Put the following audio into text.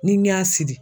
Ni n y'a siri